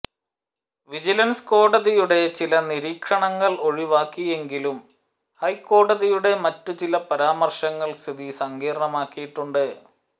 vigilance കോടതിയുടെ ചില നിരീക്ഷണങ്ങൾ ഒഴിവാക്കിയെങ്കിലും ഹൈക്കോടതിയുടെ മറ്റു ചില പരാമർശങ്ങൾ സ്ഥിതി സങ്കീർണമാക്കിയിട്ടുണ്ട്